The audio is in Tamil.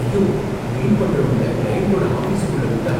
ஐயோ! கிளீன் பண்றவங்கள கிளையண்ட்டோட ஆபிஸுக்குள்ள விட்டா